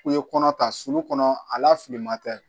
U ye kɔnɔ ta sulu kɔnɔ a la filiman tɛ